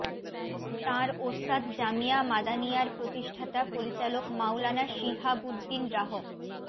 তাঁর উস্তাদ জামিয়া মাদানিয়ার প্রতিষ্ঠাতা পরিচালক মাওলানা শিহাবুদ্দিন রাহ